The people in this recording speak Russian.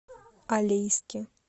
алейске